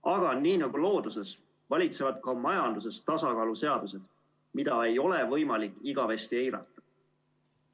Aga nii nagu looduses valitsevad ka majanduses tasakaaluseadused, mida ei ole võimalik igavesti eirata.